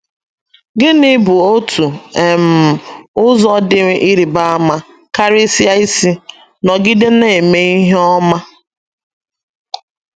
Gịnị bụ otu um ụzọ dị ịrịba ama karịsịa isi “ nọgide na - eme ihe ọma ”?